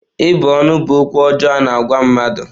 Ịbụ ọnụ bụ okwu ọjọọ a-na agwa mmadụ